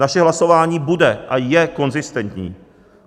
Naše hlasování bude a je konzistentní.